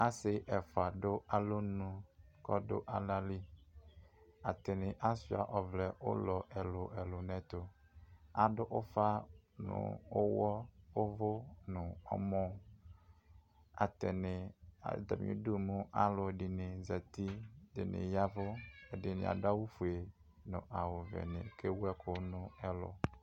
asi ɛfʋa dʋ alɔnʋ kɔdu alali atini ashua ɔvlɛ ʋlɔ ɛlʋ ɛlʋ nɛtʋ adʋ ufa nʋ ʋɣɔ ʋvu nʋ ɔmɔ atani atami udu mʋ alʋɛdini zati ɛdini yavu ɛdini aduafue nʋ awʋvɛdi ɔvɛni kewʋɛkʋ nʋ ɛlʋ